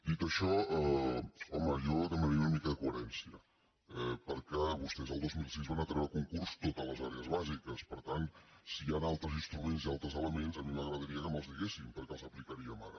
dit això home jo demanaria una mica de coherència perquè vostès el dos mil sis van treure a concurs totes les àrees bàsiques per tant si hi han altres instruments i altres elements a mi m’agradaria que me’ls diguessin perquè els aplicaríem ara